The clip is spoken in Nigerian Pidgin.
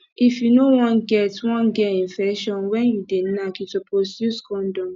if you no wan get wan get infection when you dey knack you suppose use condom